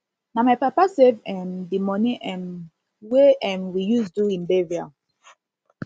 na my papa save um di moni um wey um we use do im burial